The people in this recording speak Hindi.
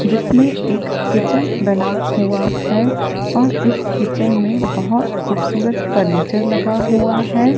जिसमें एक किचन बना हुआ है और इस किचन में बहोत खूबसूरत फर्नीचर लगा हुआ है।